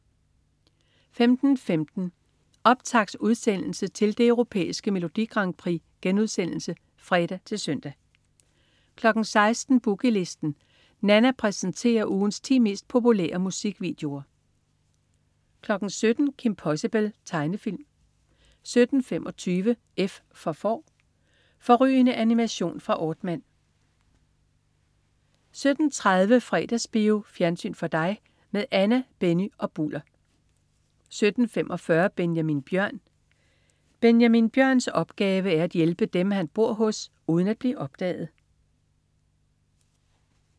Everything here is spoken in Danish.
15.15 Optaktsudsendelse til det Europæiske Melodi Grand Prix* (fre-søn) 16.00 Boogie Listen. Nanna præsenterer ugens ti mest populære musikvideoer 17.00 Kim Possible. Tegnefilm 17.25 F for Får. Fårrygende animation fra Aardman 17.30 Fredagsbio. Fjernsyn for dig med Anna, Benny og Bulder 17.45 Benjamin Bjørn. Benjamin Bjørns opgave er at hjælpe dem, han bor hos, uden at blive opdaget